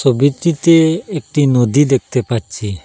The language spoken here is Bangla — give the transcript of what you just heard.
ছবিটিতে একটি নদী দেখতে পাচ্ছি।